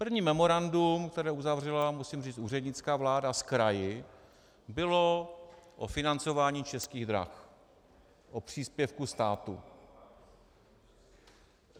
První memorandum, které uzavřela, musím říct, úřednická vláda s kraji, bylo o financování Českých drah, o příspěvku státu.